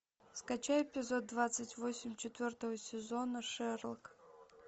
скачай эпизод двадцать восемь четвертого сезона шерлок